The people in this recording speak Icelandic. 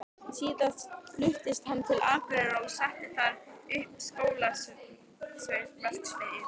Síðar fluttist hann til Akureyrar og setti þar upp skóverksmiðju.